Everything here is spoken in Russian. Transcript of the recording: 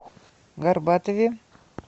горбатове